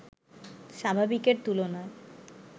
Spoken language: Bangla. স্বাভাবিকের তুলনায়